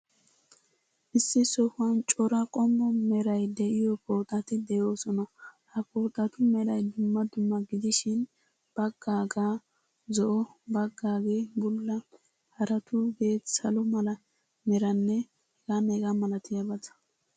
Issi sohuwan cora qommo meray de'iyo pooxati de'oosona. Ha pooxatu meray dumma dumma gidishin, baggage zo'o, baggaagee bulla, haratuugee salo mala meranne h.h.malatiyabata.